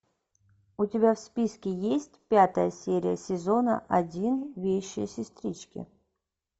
у тебя в списке есть пятая серия сезона один вещие сестрички